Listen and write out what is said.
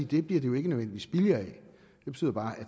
det bliver det jo ikke nødvendigvis billigere af det betyder bare